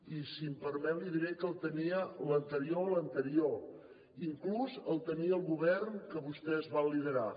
i si em permet li diré que el tenia l’anterior a l’anterior inclús el tenia el govern que vostès van liderar